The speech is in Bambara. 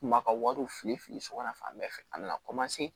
Maa ka wariw fili fili so kɔnɔ fan bɛɛ fɛ a nana